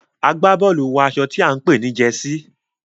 agbaboolu wọ aṣọ tí a npè ni Jersey.